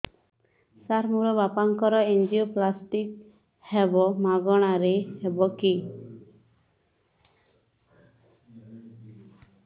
ସାର ମୋର ବାପାଙ୍କର ଏନଜିଓପ୍ଳାସଟି ହେବ ମାଗଣା ରେ ହେବ କି